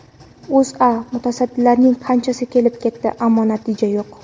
O‘zA: Mutasaddilarning qanchasi kelib ketdi, ammo natija yo‘q.